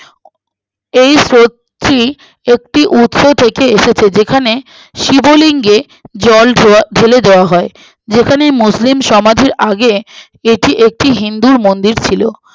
এই স্রোতটি একটি উপ থেকে এসেছে যেখানে শিবলিঙ্গে জল ধোয়া ডেলে দেওয়া হয় যেখানে মুসলিম সমাধির আগে এটি একটি হিন্দুর মন্দির ছিল